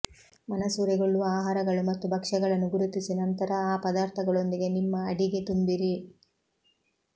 ಮನಸೂರೆಗೊಳ್ಳುವ ಆಹಾರಗಳು ಮತ್ತು ಭಕ್ಷ್ಯಗಳನ್ನು ಗುರುತಿಸಿ ನಂತರ ಆ ಪದಾರ್ಥಗಳೊಂದಿಗೆ ನಿಮ್ಮ ಅಡಿಗೆ ತುಂಬಿರಿ